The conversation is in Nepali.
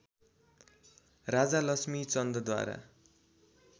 राजा लक्ष्मी चन्दद्वारा